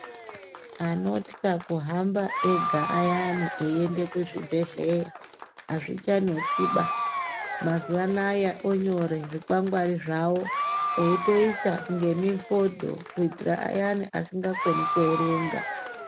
Anotya kuhamba zviyani ega achienda kuzvibhedhlera azvichanetsiba mazuva anawa onyorerwa zvikwangwari zvawo eitoisa nemifoto kuitira ayani asingakoni kuerenga.